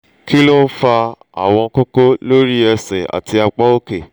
kí ló ń fa àwọn koko lori ese àti apá òkè?